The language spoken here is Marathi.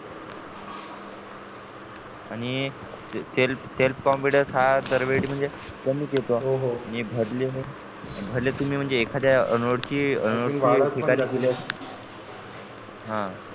आणि self selfself confidence हा दरवेळी म्हणजे कमीच येतो आणि भरलेले भले तुम्ही एखाद्या अनोळखी शिकायला गेलेत हा